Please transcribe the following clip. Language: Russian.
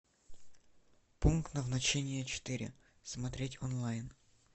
пункт назначения четыре смотреть онлайн